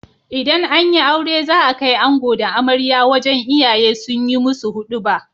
Idan anyi aure za a kai ango da amarya wajan iyaye sunyi musu huduba